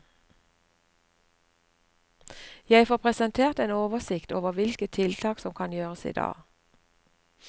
Jeg får presentert en oversikt over hvilke tiltak som kan gjøres i dag.